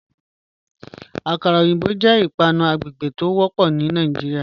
Akàrà ọyinbọ̀ jẹ́ ìpànù àgbègbè tí o wọ́pọ̀ ní Nàìjíríà.